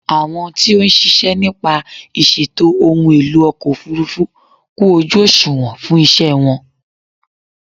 Àwọn tí ó ń ṣiṣẹ́ nípa ìṣètò ohun èlò ọkọ̀ òfúrúfú kún ojú òsùnwọ̀n fún ìṣe wọn.